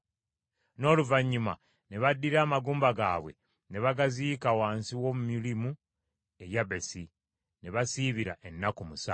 N’oluvannyuma ne baddira amagumba gaabwe ne bagaziika wansi w’omumyulimu e Yabesi, ne basiibira ennaku musanvu.